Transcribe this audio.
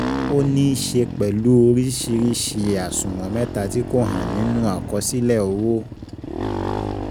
Ó níí ṣe pẹ̀lú oríṣìíríṣìí àṣùwọ̀n mẹta tí kò hàn nínú àkọsílẹ̀ owó.